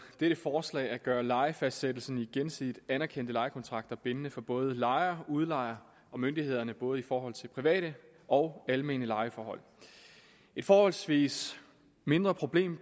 dette forslag at gøre lejefastsættelsen i gensidigt anerkendte lejekontrakter bindende for både lejer udlejer og myndigheder både i forhold til private og almene lejeforhold et forholdsvis mindre problem